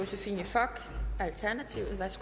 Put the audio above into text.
tak